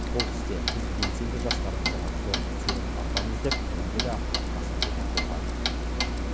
бұл істе біз белсенді жастарымызға зор сенім артамыз деп мәлімдеді қасым жомарт тоқаев